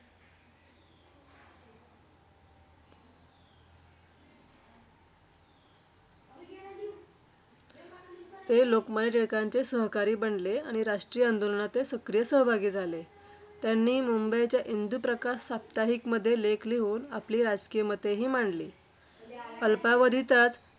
ते लोकमान्य टिळकांचे सहकारी बनले आणि राष्ट्रीय आंदोलनात ते सक्रिय सहभागी झाले. त्यांनी मुंबईच्या इंदुप्रकाश साप्ताहिकमध्ये लेख लिहून आपली राजकीय मतेही मांडली. अल्पावधीतच